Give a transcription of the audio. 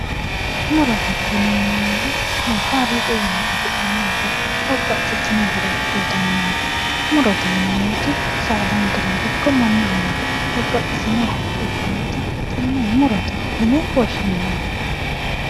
Murote yineemmori kaaliiqi wiinni afi'neemmo muro babbaxxitino horo uyitannonke murote yineemmoti saadankerano ikko mannahono babbaxxitino horo uyitannota tenne murote yine woshshineemmo